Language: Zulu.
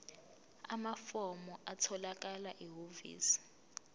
amafomu atholakala ehhovisi